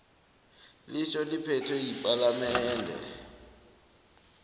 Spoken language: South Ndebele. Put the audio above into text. litjho imithetho yepalamende